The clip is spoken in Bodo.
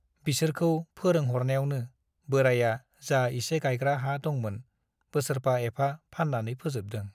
बिसोरखौ फरोंहरनायावनो बोराया जा एसे गाइग्रा हा दंमोन बोसोरफा एफा फान्नानै फोजोबदों ।